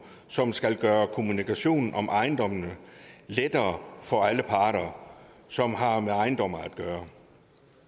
som skal gøre kommunikationen om ejendomme lettere for alle parter som har med ejendomme at gøre